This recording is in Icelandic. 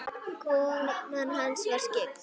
Konan hans var skyggn.